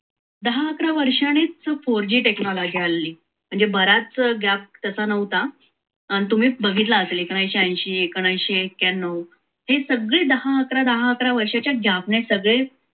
दहा अकरा वर्षांनीच four technology आलेले म्हणजे बराच gap त्याचा नव्हता आणि तुम्ही बघितला असेल एकोणविससे अंशी एकोणविससे एककयांनव हे सगळे दहा अकरा दहा अकरा वर्षाच्या gap सगळे